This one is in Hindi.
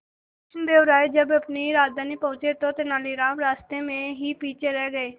कृष्णदेव राय जब अपनी राजधानी पहुंचे तो तेलानीराम रास्ते में ही पीछे रह गए